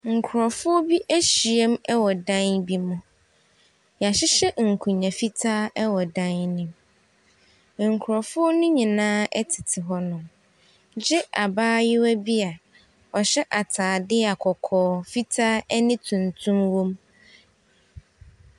Nkurɔfoɔ bi ahyiam wɔ dan bi mu. Wɔahyehyɛ nkonnwa fitaa wɔ dan no mu. Nkurɔfoɔ no nyinaa tete hɔnom gye abayewa bi a ɔhyɛ atadeɛ a kɔkɔɔ, fitaa ne tuntum wom.